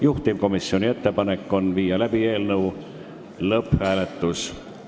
Juhtivkomisjoni ettepanek on panna eelnõu lõpphääletusele.